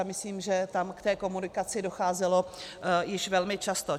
A myslím, že tam k té komunikaci docházelo již velmi často.